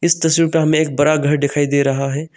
इस तस्वीर पर हमे एक बड़ा घर दिखाई दे रहा है।